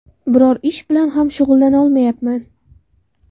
Biror ish bilan ham shug‘ullanolmayman.